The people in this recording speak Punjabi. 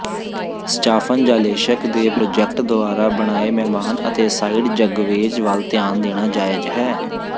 ਸਟਾਫਨ ਜਾਲੇਸ਼ਕ ਦੇ ਪ੍ਰਾਜੈਕਟ ਦੁਆਰਾ ਬਣਾਏ ਮਹਿਮਾਨ ਅਤੇ ਸਾਈਡ ਜਗਵੇਜ਼ ਵੱਲ ਧਿਆਨ ਦੇਣਾ ਜਾਇਜ਼ ਹੈ